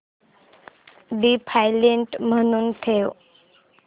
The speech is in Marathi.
डिफॉल्ट म्हणून ठेव